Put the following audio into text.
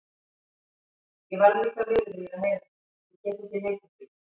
Ég varð líka miður mín að heyra þetta, ég get ekki neitað því.